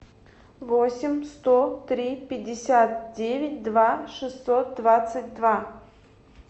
восемь сто три пятьдесят девять два шестьсот двадцать два